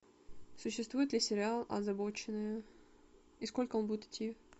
существует ли сериал озабоченные и сколько он будет идти